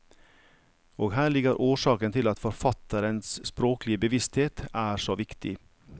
Og her ligger årsaken til at forfatterens språklige bevissthet er så viktig.